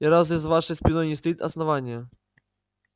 и разве за вашей спиной не стоит основание